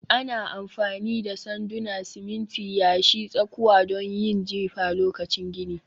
Ana amfani da sanduna, siminti, yashi, tsakuwa don yin jifa lokacin gini